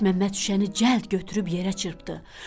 Məlikməmməd şüşəni cəld götürüb yerə çırpdı.